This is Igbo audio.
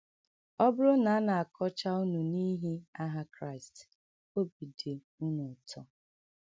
“ Ọ bụrụ na a na - akọcha unu n’ihi aha Kraịst, obi dị unu ụtọ. ”